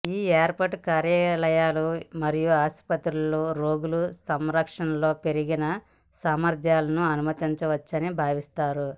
ఈ ఏర్పాటు కార్యాలయాలు మరియు ఆసుపత్రులలో రోగుల సంరక్షణలో పెరిగిన సామర్థ్యాలను అనుమతించవచ్చని భావిస్తారు